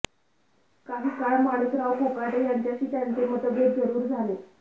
काही काळ माणिकराव कोकाटे यांच्याशी त्यांचे मतभेद जरूर झाले